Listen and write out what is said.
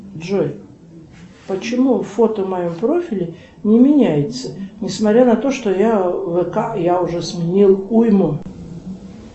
джой почему фото в моем профиле не меняется несмотря на то что я в вк я уже сменил уйму